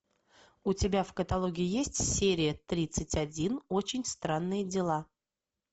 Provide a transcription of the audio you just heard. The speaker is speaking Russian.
у тебя в каталоге есть серия тридцать один очень странные дела